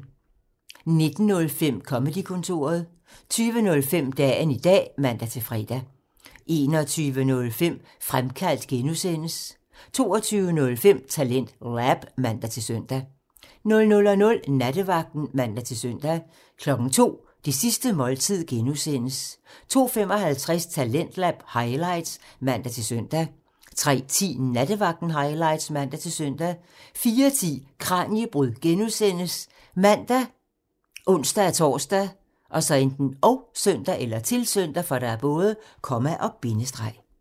19:05: Comedy-kontoret (man) 20:05: Dagen i dag (man-fre) 21:05: Fremkaldt (G) (man) 22:05: TalentLab (man-søn) 00:00: Nattevagten (man-søn) 02:00: Det sidste måltid (G) (man) 02:55: Talentlab highlights (man-søn) 03:10: Nattevagten highlights (man-søn) 04:10: Kraniebrud (G) ( man, ons-tor, -søn)